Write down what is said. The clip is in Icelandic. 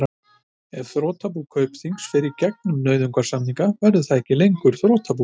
Ef þrotabú Kaupþings fer í gegnum nauðasamninga verður það ekki lengur þrotabú.